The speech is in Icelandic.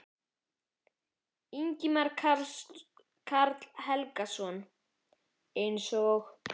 Ingimar Karl Helgason: Eins og?